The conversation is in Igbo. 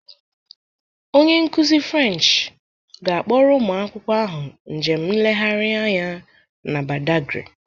Onye nkuzi French ga-akpọrọ ụmụ akwụkwọ ahụ njem nlegharị anya na Badagry